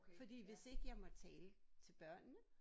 Fordi hvis ikke jeg må tale til børnene